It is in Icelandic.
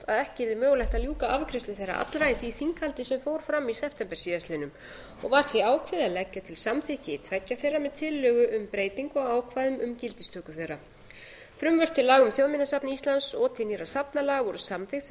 ekki yrði mögulegt að ljúka afgreiðslu þeirra allra í því þinghaldi sem fór fram í september síðastliðinn og var því ákveðið að leggja til samþykki tveggja þeirra með tillögu um breytingu á ákvæðum um gildistöku þeirra frumvörp til laga um þjóðminjasafn íslands og til nýrra safnalaga voru samþykkt sem lög frá